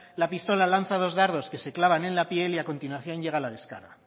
la pistola lanza dos dardos que se clavan en la piel y a continuación llega la descarga